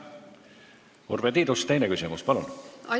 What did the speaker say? Urve Tiidus, teine küsimus, palun!